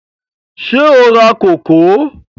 Ṣé o ra kókò?